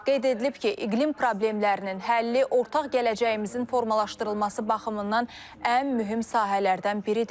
Qeyd edilib ki, iqlim problemlərinin həlli ortaq gələcəyimizin formalaşdırılması baxımından ən mühüm sahələrdən biridir.